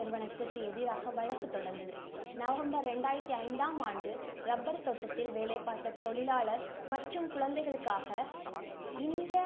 நிறுவனத்துக்கு எதிராக வழக்குத் தொடர்ந்தது. நவம்பர் இரண்டாயிரத்தி ஐந்தாம் ஆண்டு rubber தோட்டத்தில் வேலைபார்த்த தொழிலாளர் மற்றும் குழந்தைகளுக்காக இந்த